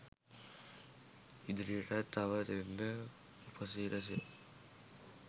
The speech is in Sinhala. ඉදිරියටත් තව දෙන්න උපසිරසි